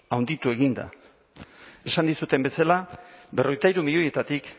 handitu egin da esan dizudan bezala berrogeita hiru milioietatik